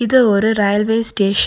இது ஒரு railway station .